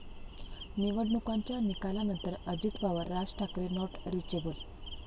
निवडणुकांच्या निकालानंतर Ajit Pawar, Raj Thackeray not reachable